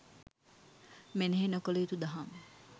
මෙනෙහි නොකළ යුතු දහම්